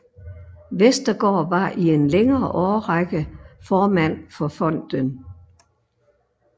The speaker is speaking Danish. Westergaard var i en længere årrække formand for fonden